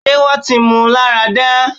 ṣé wọ́n ti mú un lára dá?